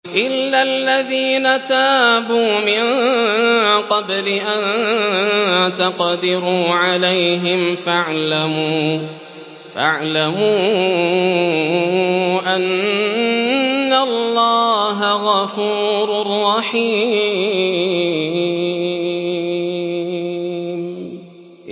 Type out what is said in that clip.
إِلَّا الَّذِينَ تَابُوا مِن قَبْلِ أَن تَقْدِرُوا عَلَيْهِمْ ۖ فَاعْلَمُوا أَنَّ اللَّهَ غَفُورٌ رَّحِيمٌ